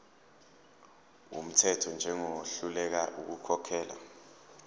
wumthetho njengohluleka ukukhokhela